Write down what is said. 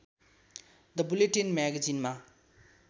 the bulletin म्यागेजिनमा